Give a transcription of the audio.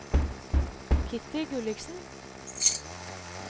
Kitty Gulliksen